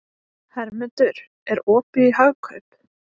Hermundur, er opið í Hagkaup?